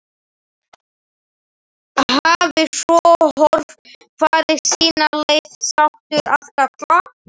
Hafi svo hvor farið sína leið, sáttur að kalla.